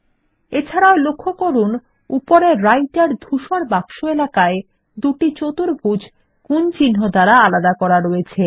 এছাড়াও লক্ষ্য করুন উপরের রাইটের ধূসর বাক্স এলাকায় দুটো চতুর্ভূজ গুন চিন্হ দ্বারা আলাদা করা আছে